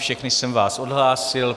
Všechny jsem vás odhlásil.